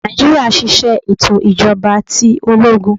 Naijiria ṣiṣẹ eto ijọba ti ologun